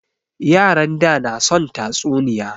Yaran da na son tatsuniya